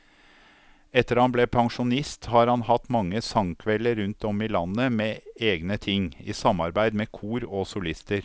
Etter at han ble pensjonist har han hatt mange sangkvelder rundt om i landet med egne ting, i samarbeid med kor og solister.